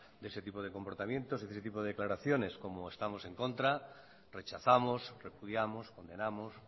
de ese tipo de comportamiento y de ese tipo de declaraciones como estamos en contra rechazamos repudiamos condenamos